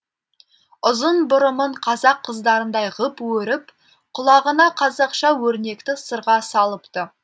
ұзын бұрымын қазақ қыздарындай ғып өріп құлағына қазақша өрнекті сырға салыпты